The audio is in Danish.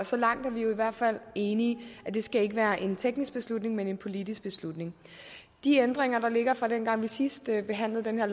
så langt er vi i hvert fald enige det skal ikke være en teknisk beslutning men en politisk beslutning de ændringer der ligger fra dengang vi sidst behandlede den her